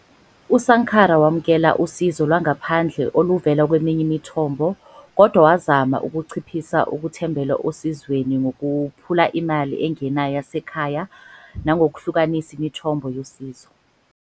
USankara wamukele usizo lwangaphandle oluvela kweminye imithombo kodwa wazama ukunciphisa ukuthembela osizweni ngokukhuphula imali engenayo yasekhaya nangokuhlukanisa imithombo yosizo.